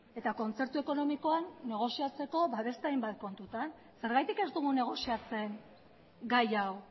eta kontzertu ekonomikoan negoziatzeko beste hainbat kontutan zergatik ez dugu negoziatzen gai hau